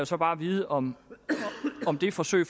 så bare vide om det forsøg